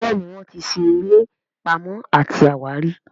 Béèni wón tí ṣe eré Pàmò àti àwárí.